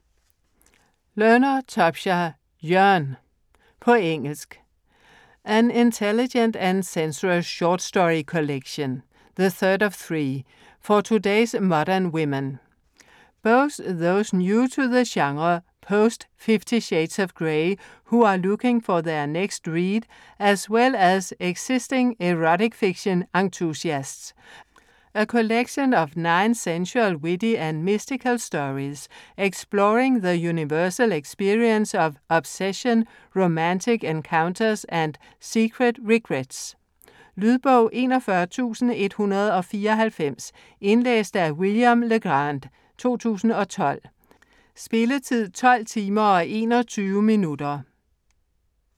Learner, Tobsha: Yearn På engelsk. An intelligent and sensuous short story collection - the third of three - for today's modern women: both those new to the genre post-Fifty Shades of Grey, who are looking for their next read, as well as existing erotic-fiction enthusiasts. A collection of nine sensual, witty and mystical stories, exploring the universal experience of obsession, romantic encounters and secret regrets. Lydbog 41194 Indlæst af William LeGrande, 2012. Spilletid: 12 timer, 21 minutter.